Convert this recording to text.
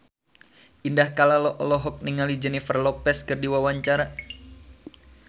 Indah Kalalo olohok ningali Jennifer Lopez keur diwawancara